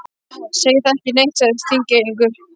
Segir það ekki neitt, sagði Þingeyingur.